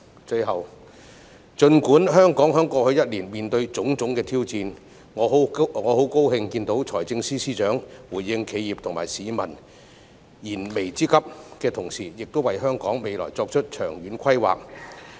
最後，儘管香港在過去一年面對種種挑戰，我很高興看到財政司司長回應企業及市民燃眉之急，亦為香港未來作出長遠規劃。